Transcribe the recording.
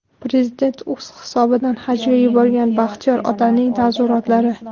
Prezident o‘z hisobidan hajga yuborgan Baxtiyor otaning taassurotlari .